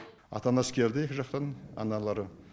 ата анасы келді екі жақтан аналары